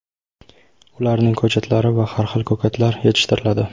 ularning ko‘chatlari va har xil ko‘katlar yetishtiriladi.